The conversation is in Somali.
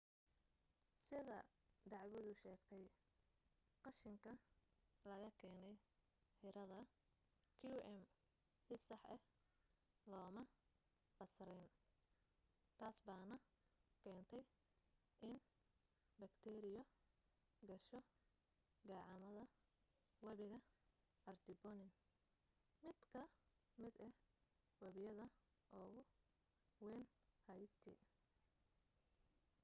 sida dacwadu sheegtay qashinka laga keenay xerada qm si sax ah looma basrin taasbaana keentay in bakteeriyo gasho gacamada webiga artibonite mid ka mid ah webiyada ugu wayn haiti